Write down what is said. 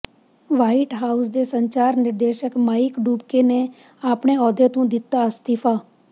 white House ਦੇ ਸੰਚਾਰ ਨਿਰਦੇਸ਼ਕ ਮਾਈਕ ਡੂਬਕੇ ਨੇ ਆਪਣੇ ਅਹੁਦੇ ਤੋਂ ਦਿੱਤਾ ਅਸਤੀਫਾ